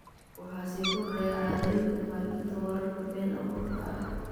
Waxaa sii kordhaya caadooyinka faafinta wararka been abuurka ah.